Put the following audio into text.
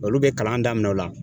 Olu bɛ kalan daminɛ o la.